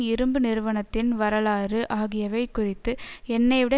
இரும்பு நிறுவனத்தின் வரலாறு ஆகியவை குறித்து என்னை விட